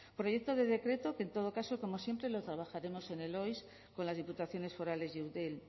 proyecto de decreto que en todo caso como siempre lo trabajaremos en el ois con las diputaciones forales y eudel